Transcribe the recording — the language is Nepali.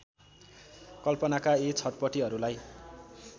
कल्पनाका यी छटपटीहरूलाई